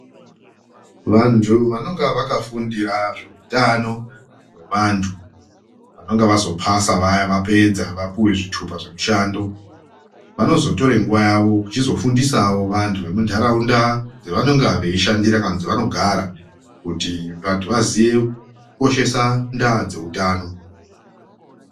Vantu vanenge vakafundira zveutano hwevantu, vanenge vazopasa vaya vapedza vapuwa zvitupa zvemushando vanozotore nguva yavo kuchizofundisawo vantu vemuntaraunda dzevanonga veishandira kana kuti dzevanogara kuti vantu vaziye kujoshesa ndaa dzeutano.